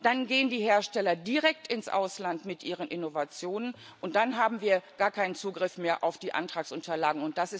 Dann gehen die Hersteller direkt ins Ausland mit ihren Innovationen, und dann haben wir gar keinen Zugriff mehr auf die Antragsunterlagen.